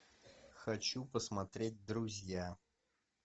хочу посмотреть друзья